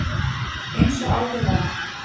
Eins og áður var